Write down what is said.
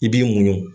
I b'i muɲu